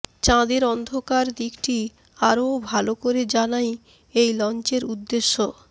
চাঁদের অন্ধকার দিকটি আরও ভালো করে জানাই এই লঞ্চের উদ্দেশ্য